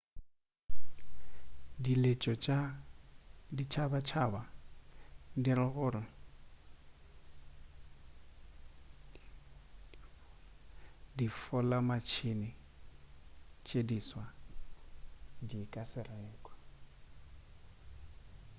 diletšo tša ditšhabatšhaba di ra gore difolamatšhene tše diswa di ka se rekwe